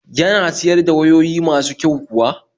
Yana siyar da wayoyi masu kyau kuwa?